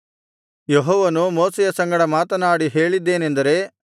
ಯೆಹೋವನು ಮೋಶೆಯ ಸಂಗಡ ಮಾತನಾಡಿ ಹೇಳಿದ್ದೇನೆಂದರೆ